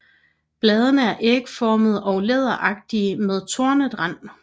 Bladene er ægformede og læderagtige med tornet rand